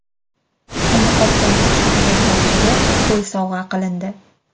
Uni qopqonga tushirgan ovchiga qo‘y sovg‘a qilindi.